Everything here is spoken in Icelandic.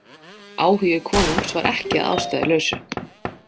Áhugi konungs var ekki að ástæðulausu.